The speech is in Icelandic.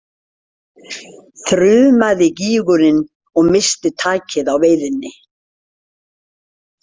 þrumaði gýgurin og missti takið á veiðinni.